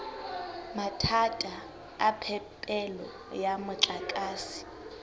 mathata a phepelo ya motlakase